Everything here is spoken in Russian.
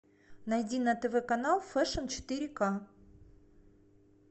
найди на тв канал фэшн четыре к